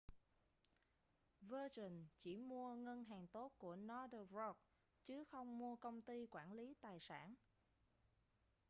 virgin chỉ mua ngân hàng tốt' của northern rock chứ không mua công ty quản lý tài sản